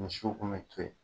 Misiw kun mɛ to yen.